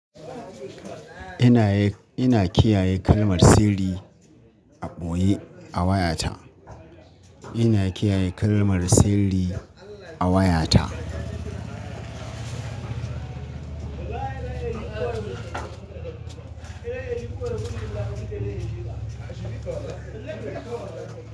Ina yi, ina kiyaye kalmar siri a ɓoye a wayata. Ina kiyaye kalmar siri a wayata.